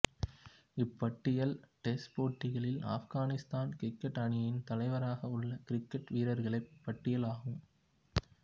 இப்பட்டியல் test போட்டிகளில்ஆப்கானிஸ்தான் cricket அணியின் தலைவராக உள்ள கிரிக்கெட் வீரர்களின் பட்டியல் ஆகும்